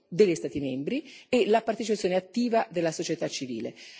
e degli Stati membri e alla partecipazione attiva della società civile.